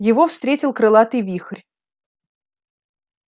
его встретил крылатый вихрь